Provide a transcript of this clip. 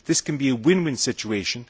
This can be a win win situation.